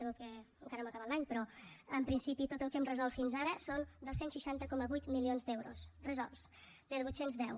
sabeu que encara no hem acabat l’any però en principi tot el que hem resolt fins ara són dos cents i seixanta coma vuit milions d’euros resolts de vuit cents i deu